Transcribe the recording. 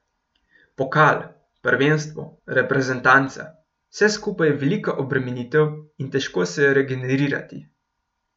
Pokal, prvenstvo, reprezentanca, vse skupaj je velika obremenitev in težko se je regenerirati.